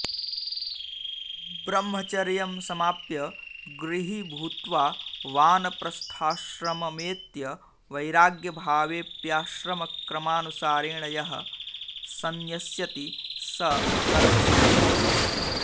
ब्रह्मचर्यं समाप्य गृही भूत्वा वानप्रस्थाश्रममेत्य वैराग्यभावेऽप्याश्रमक्रमानुसारेण यः संन्यस्यति स कर्मसंन्यासी